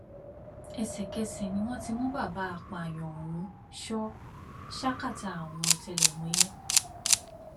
ẹsẹkẹsẹ ni wọn ti mú bàbá apààyàn ọhún sọ ṣákátá àwọn ọtẹlẹmúyẹ